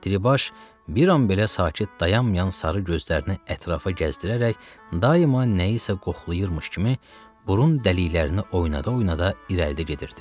Diribaş bir an belə sakit dayanmayan sarı gözlərini ətrafa gəzdirərək daima nəyisə qoxlayırmış kimi burun dəliklərini oynada-oynada irəlidə gedirdi.